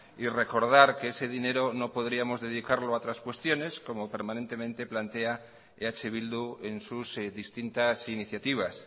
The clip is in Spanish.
y recordar que ese dinero no podríamos dedicarlo a otras cuestiones como permanentemente plantea eh bildu en sus distintas iniciativas